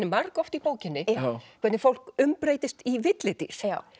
margoft í bókinni hvernig fólk umbreytist í villidýr